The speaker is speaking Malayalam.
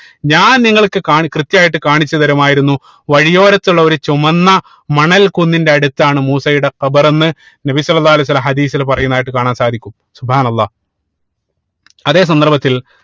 ഞാൻ നിങ്ങൾക്ക് കാണി കൃത്യായിട്ട് കാണിച്ചു തരുമായിരുന്നു വഴിയോരത്തുള്ള ഒരു ചുമന്ന മണൽ കുന്നിന്റെ അടുത്താണ് മൂസയുടെ ഖബർ എന്ന് നബി സ്വല്ലള്ളാഹു അലൈഹി വസല്ലം ഹദീസിൽ പറയുന്നതായിട്ട് കാണാൻ സാധിക്കും അള്ളാഹ് അതേ സന്ദർഭത്തിൽ